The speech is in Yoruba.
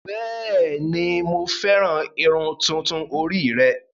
Bẹ́ẹ̀ni, Mo fẹran ìrun tuntun ori rẹ